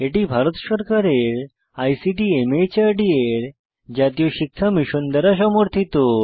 এটি ভারত সরকারের আইসিটি মাহর্দ এর জাতীয় শিক্ষা মিশন দ্বারা সমর্থিত